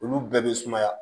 Olu bɛɛ bɛ sumaya